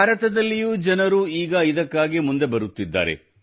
ಭಾರತದಲ್ಲಿಯೂ ಜನರು ಈಗ ಇದಕ್ಕಾಗಿ ಮುಂದೆ ಬರುತ್ತಿದ್ದಾರೆ